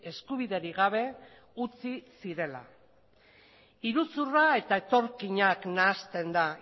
eskubiderik gabe utzi zirela iruzurra eta etorkinak nahasten da